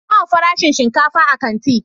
Nawa farashin shinkafa a kanti?